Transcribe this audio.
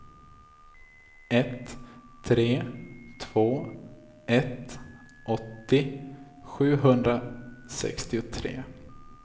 ett tre två ett åttio sjuhundrasextiotre